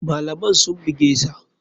Malaman sun bugesa.